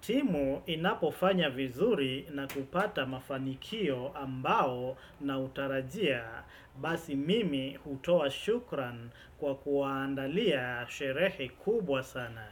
Timu inapofanya vizuri na kupata mafanikio ambayo naitarajia basi mimi hutoa shukran kwa kuwaandalia sherehe kubwa sana.